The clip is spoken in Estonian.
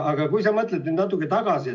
Aga mõtle natuke tagasi.